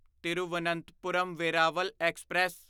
Thiruvananthapuram Veraval express